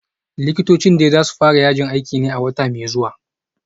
Likitocin dai za su fara yajin aikin ne a wata mai zuwa